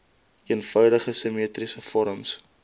eenvoudige simmetriese vorms